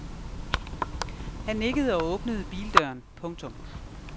Han nikkede og åbnede bildøren. punktum